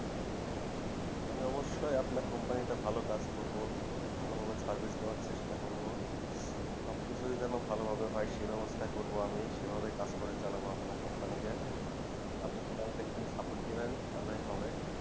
আমি অবশ্যই আপনার Company তে ভালো কাজ করবো ভালো ভাবে service দেবার চেষ্টা করবো সব কিছুই ভালো ভাবে হয় সেই অবস্থায় করবো আমি সেই ভাবে কাজ করে চালাবো আপনার Company কে আপনি পিছন থেকে একটু support দেবেন তালে হবে